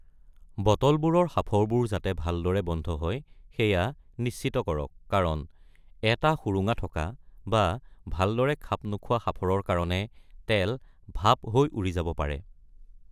বটলবোৰৰ সাঁফৰবোৰ ভালদৰে বন্ধ হয় যাতে সেইয়া নিশ্চিত কৰক, কাৰণ এটা সুৰুঙা থকা বা ভালদৰে খাপ নোখোৱা সাঁফৰৰ কাৰণে তেল ভাপ হৈ উৰি যাব পাৰে।